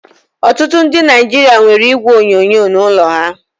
Ọtụtụ ndị Naijiria nwere igwe onyonyo n'ụlọ ha